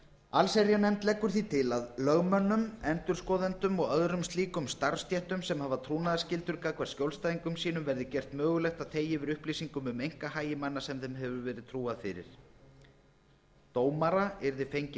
allsherjarnefnd leggur því til að lögmönnum endurskoðendum og öðrum slíkum starfsstéttum sem hafa trúnaðarskyldur gagnvart skjólstæðingum sínum verði gert mögulegt að þegja yfir upplýsingum um einkahagi manna sem þeim hefur verið trúað fyrir dómara yrði fengið